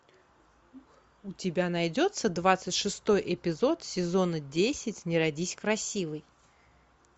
у тебя найдется двадцать шестой эпизод сезона десять не родись красивой